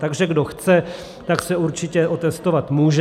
Takže kdo chce, tak se určitě otestovat může.